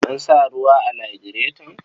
An sa ruwa a lagireton.